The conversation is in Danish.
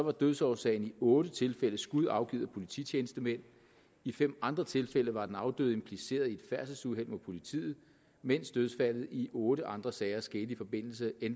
at dødsårsagen i otte tilfælde var skud afgivet af polititjenestemænd i fem andre tilfælde var den afdøde impliceret i et færdselsuheld med politiet mens dødsfaldene i otte andre sager skete i forbindelse